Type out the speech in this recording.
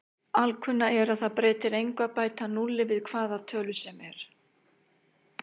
Alkunna er að það breytir engu að bæta núlli við hvaða tölu sem er.